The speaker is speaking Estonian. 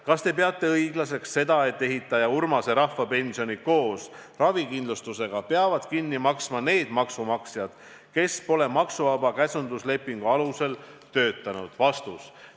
Kas Te peate õiglaseks seda, et ehitaja Urmase rahvapensioni koos ravikindlustusega peavad kinni maksma need maksumaksjad, kes pole maksuvaba käsunduslepingu alusel töötanud?